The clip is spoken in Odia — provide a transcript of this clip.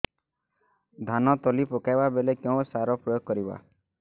ଧାନ ତଳି ପକାଇବା ବେଳେ କେଉଁ ସାର ପ୍ରୟୋଗ କରିବା